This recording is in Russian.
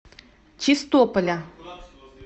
чистополя